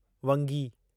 वंगी